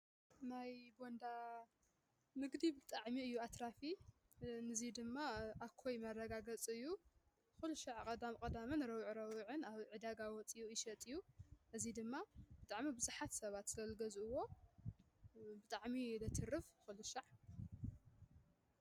ናይ ቦንዳ ንግዲ ብጥዕሚ እዩ ኣትራፊ። ንዙይ ድማ ኣኮይ መረጋገጽ እዩ፣ ዂልሻዕ ቐዳም ቐዳምን ረቡዕ ረቡዕን ኣብ ዕዳጋ ወፅዩ ይሸጥ እዩ። እዙይ ድማ ብጣዕሚ ብዙሓት ሰባት ስለ ዝገዝእዎ ብጣዕሚ እዩ ዘትርፍ ኲልሻዕ።